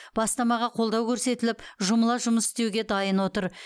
бастамаға қолдау көрсетіліп жұмыла жұмыс істеуге дайын отыр